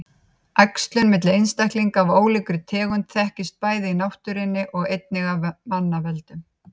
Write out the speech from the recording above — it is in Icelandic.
Æxlun milli einstaklinga af ólíkum tegundum þekkist bæði í náttúrunni og einnig af manna völdum.